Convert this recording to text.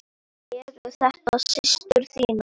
Eru þetta systur þínar?